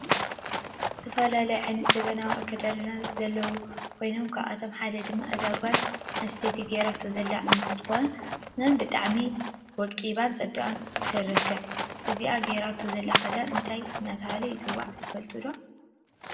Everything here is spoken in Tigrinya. ዝተፈላለዩ ዓይነት ዘመናዊ አከዳድና ዘለዎ ኮይኖም ካብአቶ ሓደ ድማ እዛ ጋል አንስተይቲ ገይራቶ ዘላ እንትኮን ብጣዕሚ ወቂባን ፀቢቃን ትሪከብ ።እዚ ገይራቶ ዘላ ክዳን እንታይ እናተባህለ ይፅዋዕ ትፈልጥዎ ዶ?